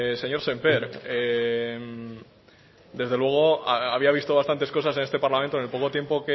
señor sémper desde luego había visto bastantes cosas en este parlamento en el poco tiempo